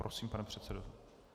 Prosím, pane předsedo.